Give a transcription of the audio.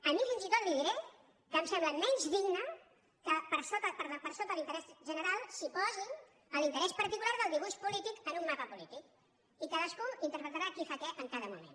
a mi fins i tot li diré que em sembla menys digne que per sota l’interès general s’hi posi l’interès particular del dibuix polític en un mapa polític i cadascú interpretarà qui fa què en cada moment